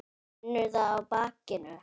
Finnur það á bakinu.